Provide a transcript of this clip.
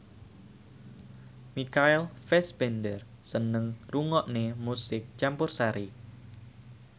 Michael Fassbender seneng ngrungokne musik campursari